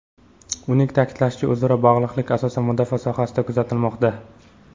Uning ta’kidlashicha, o‘zaro bog‘liqlik asosan mudofaa sohasida kuzatilmoqda.